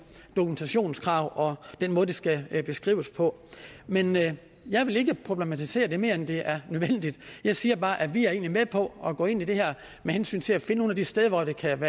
dokumentationskrav og den måde det skal beskrives på men jeg vil ikke problematisere det mere end det er nødvendigt jeg siger bare at vi egentlig er med på at gå ind i det her med hensyn til at finde nogle af de steder hvor det kan